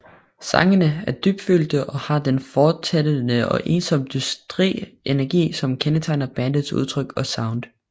Sangene er dybfølte og har den fortættede og ensomt dystre energi som kendetegner bandets udtryk og sound